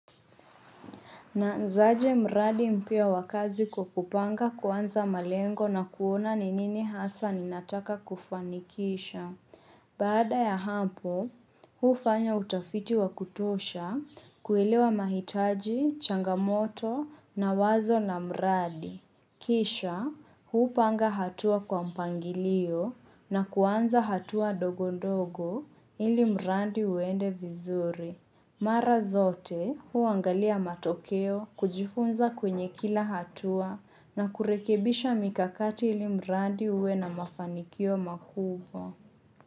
Naanzaje mradi mpya wa kazi kwa kupanga kuanza malengo na kuona ni nini hasa ninataka kufanikisha. Baada ya hapo, hufanya utafiti wa kutosha kuelewa mahitaji, changamoto na wazo na mradi. Kisha, hupanga hatua kwa mpangilio na kuanza hatua ndogo ndogo ili mradi uende vizuri. Mara zote huangalia matokeo kujifunza kwenye kila hatua na kurekebisha mikakati ili mradi uwe na mafanikio makubwa.